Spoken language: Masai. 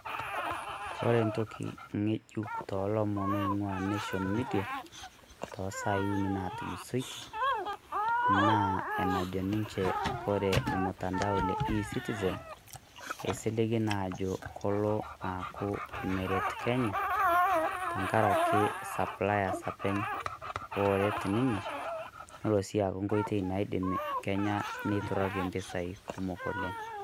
Kore entoki ng'ejuk too lomon loing'ua Nation Media too sai uni naatulusoitie naa enano ninche wore ormutandao le eCitizen eisligi naa aajo kelo aaku meret Kenya tengaraki aaku saplias enche ooret ninye nelo sii aaku enkoitoi naidim Kenya neiturratie impisai kumok oleng'.